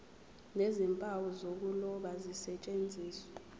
nezimpawu zokuloba zisetshenziswe